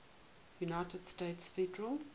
united states federal